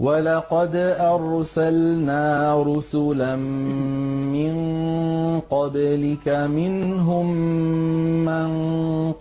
وَلَقَدْ أَرْسَلْنَا رُسُلًا مِّن قَبْلِكَ مِنْهُم مَّن